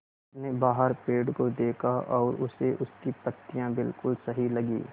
उसने बाहर पेड़ को देखा और उसे उसकी पत्तियाँ बिलकुल सही लगीं